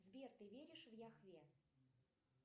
сбер ты веришь в яхве